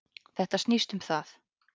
Þetta snýst um það.